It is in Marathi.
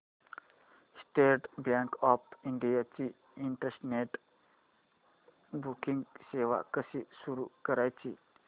स्टेट बँक ऑफ इंडिया ची इंटरनेट बँकिंग सेवा कशी सुरू करायची